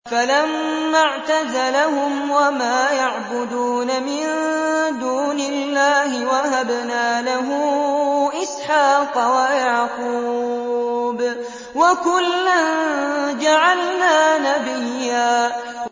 فَلَمَّا اعْتَزَلَهُمْ وَمَا يَعْبُدُونَ مِن دُونِ اللَّهِ وَهَبْنَا لَهُ إِسْحَاقَ وَيَعْقُوبَ ۖ وَكُلًّا جَعَلْنَا نَبِيًّا